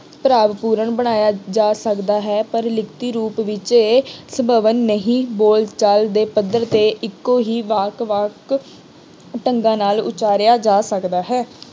ਭਾਵਪੂਰਨ ਬਣਾਇਆ ਜਾ ਸਕਦਾ ਹੈ। ਪਰ ਲਿਖਤੀ ਰੂਪ ਵਿੱਚ ਇਹ ਸੰਭਵ ਨਹੀਂ ਬੋਲਚਾਲ ਦੇ ਪੱਧਰ ਤੇ ਇੱਕੋ ਹੀ ਵਾਕ ਵੱਖ ਢੰਗਾਂ ਨਾਲ ਉਚਾਰਿਆ ਜਾ ਸਕਦਾ ਹੈ।